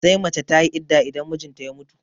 Sai mace tayi idda idan mijinta ya mutu